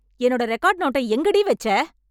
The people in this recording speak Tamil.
என்னோட ரெக்கார்ட் நோட்டை எங்கடி வெச்சே?